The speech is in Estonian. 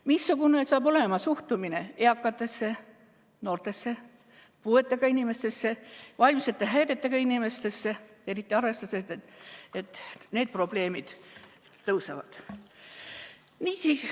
Missugune saab olema suhtumine eakatesse, noortesse, puuetega inimestesse, vaimsete häiretega inimestesse, eriti arvestades, et need probleemid suurenevad?